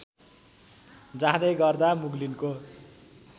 जाँदै गर्दा मुग्लिनको